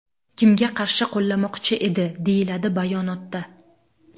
Kimga qarshi qo‘llamoqchi edi?”, deyiladi bayonotda.